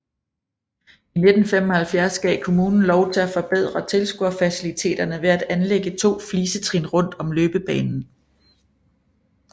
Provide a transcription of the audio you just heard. I 1975 gav kommunen lov til at forbedre tilskuerfaciliteterne ved at anlægge to flisetrin rundt om løbebanen